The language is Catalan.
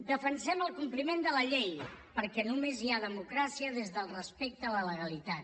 defensem el compliment de la llei perquè només hi ha democràcia des del respecte a la legalitat